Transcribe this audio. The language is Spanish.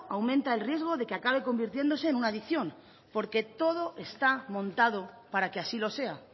aumenta el riesgo de que acabe convirtiéndose en una adicción porque todo está montado para que así lo sea